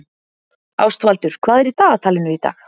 Ástvaldur, hvað er í dagatalinu í dag?